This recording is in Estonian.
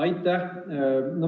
Aitäh!